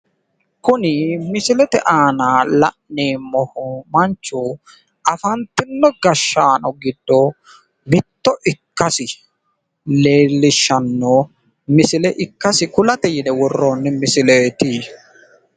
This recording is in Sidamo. Kuni misilete aana la'neemmo gashaanchi afantino gashshaano giddo mittoho